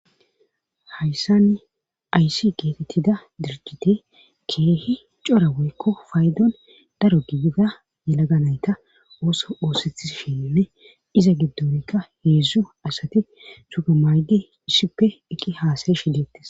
Hayssanne aysi geetettida dirgite keehi cora woykko faydon daro gibida yalaga nayta ooso oosethi sheenine iza giddonikka heedzdzo asati suga maayde issippe eqqi haasare shidettes